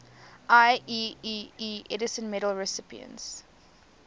ieee edison medal recipients